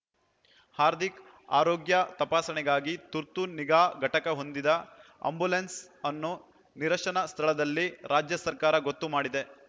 ಹಾರ್ದಿಕ್‌ ಆರೋಗ್ಯ ತಪಾಸಣೆಗಾಗಿ ತುರ್ತು ನಿಗಾ ಘಟಕ ಹೊಂದಿದ ಆ್ಯಂಬುಲೆನ್ಸ್‌ ಅನ್ನು ನಿರಶನ ಸ್ಥಳದಲ್ಲಿ ರಾಜ್ಯ ಸರ್ಕಾರ ಗೊತ್ತು ಮಾಡಿದೆ